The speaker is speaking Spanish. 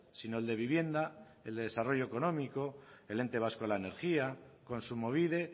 sino el de vivienda el de desarrollo económico el ente vasco de la energía kontsumobide